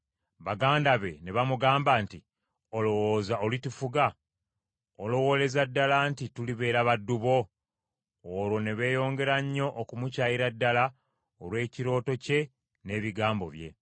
Baganda be ne bamugamba nti, “Olowooza olitufuga? Olowooleza ddala nti tulibeera baddu bo?” Olwo ne beeyongera nnyo okumukyayira ddala olw’ekirooto kye n’ebigambo bye.